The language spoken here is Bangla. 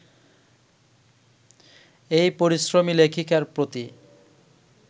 এই পরিশ্রমী লেখিকার প্রতি